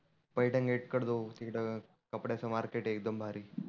Paithan gate कडं जाऊ तीथं कपड्याच मार्केट आहे एकदम भारी.